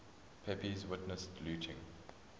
pepys witnessed looting